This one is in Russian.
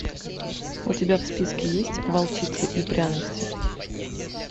у тебя в списке есть волчица и пряности